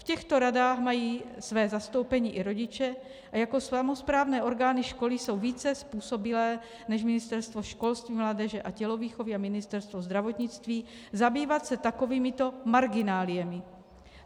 V těchto radách mají své zastoupení i rodiče a jako samosprávné orgány školy jsou více způsobilé než Ministerstvo školství, mládeže a tělovýchovy a Ministerstvo zdravotnictví zabývat se takovýmito margináliemi.